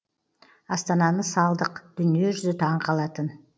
астананы салдық дүниежүзі таңқалатын